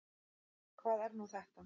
Hvað er nú þetta?